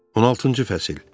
16-cı fəsil.